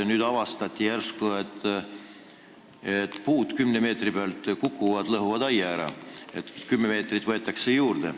Nüüd avastati järsku, et puud võivad 10 meetri pealt sinna ribale kukkuda ja aia ära lõhkuda, nii et 10 meetrit võetakse juurde.